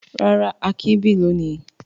Rárá, Akin bì lónìí.